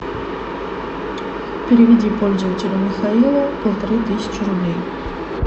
переведи пользователю михаилу полторы тысячи рублей